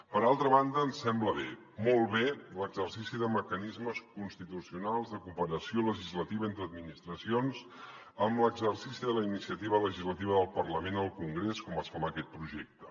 per altra banda ens sembla bé molt bé l’exercici de mecanismes constitucionals de cooperació legislativa entre administracions amb l’exercici de la iniciativa legislativa del parlament al congrés com es fa en aquest projecte